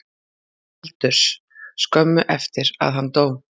Baldurs skömmu eftir að hann dó.